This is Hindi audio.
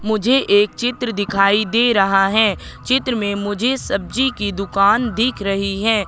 मुझे एक चित्र दिखाई दे रहा है चित्र मे मुझे सब्जी की दुकान दिख रही है।